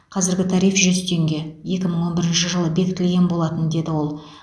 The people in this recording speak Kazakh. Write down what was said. қазіргі тариф жүз теңге екі мың он бірінші жылы бекітілген болатын деді ол